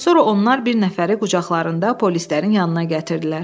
Sonra onlar bir nəfəri qucaqlarında polislərin yanına gətirdilər.